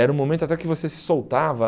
Era um momento até que você se soltava.